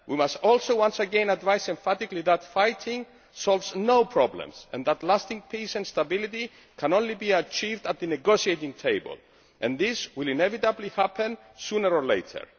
We must also once again advise emphatically that fighting solves no problems, and that lasting peace and stability can only be achieved at the negotiating table, which will inevitably happen sooner or later.